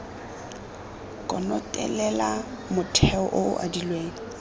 konotelela motheo o o adilweng